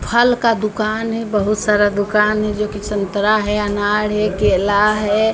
फल का दुकान है बहुत सारा दुकान है जो की संतरा है अनार है केला है।